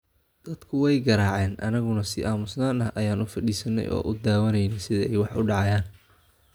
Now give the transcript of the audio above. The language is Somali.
Dadku, way garaaceen, annaguna si aamusnaan ah ayaan u fadhiisannay oo daawanaynay sida ay wax u dhacayaan.